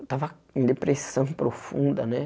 Eu tava com depressão profunda, né?